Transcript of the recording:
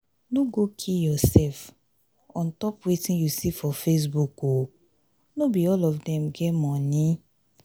no go kill yoursef on top wetin you see for facebook o no be all of dem get moni.